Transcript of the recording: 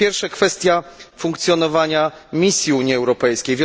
Pierwsze, kwestia funkcjonowania misji Unii Europejskiej.